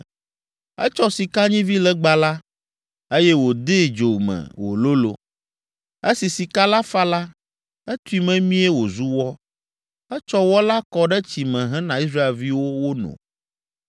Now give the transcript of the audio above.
Etsɔ sikanyivilegba la, eye wòdee dzo me wòlolo. Esi sika la fa la, etui memie wòzu wɔ. Etsɔ wɔ la kɔ ɖe tsi me hena Israelviwo wono.